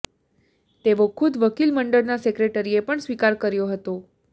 તેવો ખુદ વકીલ મંડળના સેક્રેટરીએ પણ સ્વિકાર કર્યો હતો